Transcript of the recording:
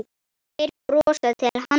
Þeir brosa til hans.